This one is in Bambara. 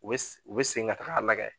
U bɛ se u bɛ segin ka taga lagɛ